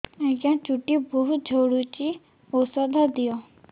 ଆଜ୍ଞା ଚୁଟି ବହୁତ୍ ଝଡୁଚି ଔଷଧ ଦିଅ